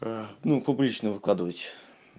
аа ну публично выкладывать